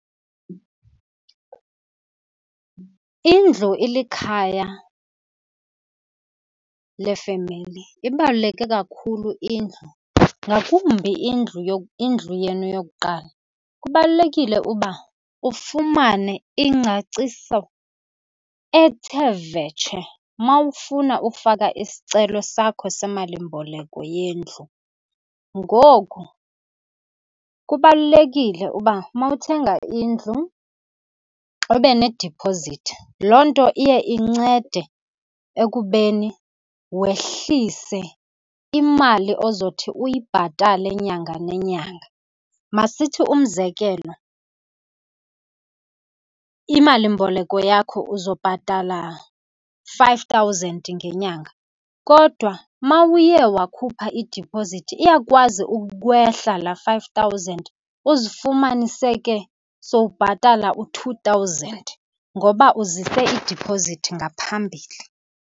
Indlu ilikhaya lefemeli. Ibaluleke kakhulu indlu, ngakumbi indlu , indlu yenu yokuqala. Kubalulekile uba ufumane ingcaciso ethe vetshe uma ufuna ufaka isicelo sakho semalimboleko yendlu. Ngoku kubalulekile uba uma uthenga indlu ube nedipozithi. Loo nto iye incede ekubeni wehlise imali ozothi uyibhatale nyanga nenyanga. Masithi umzekelo, imalimboleko yakho uzobhatala five thousand ngenyanga, kodwa uma uye wakhupha idiphozithi iyakwazi ukwehla laa five thousand. Uzifumanise ke sowubhatala u-two thousand ngoba uzise idiphozithi ngaphambili.